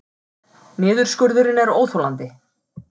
Niðurskurðurinn er óþolandi